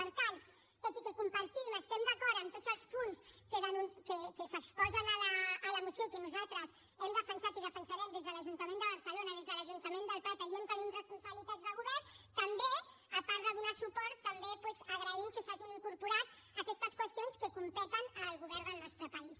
per tant tot i que compartim i estem d’acord amb tots els punts que s’exposen a la moció i que nosaltres hem defensat i defensarem des de l’ajuntament de barcelona des de l’ajuntament del prat allà on tenim responsabilitats de govern també a part de donar suport també doncs agraïm que s’hagin incorporat aquestes qüestions que competeixen al govern del nostre país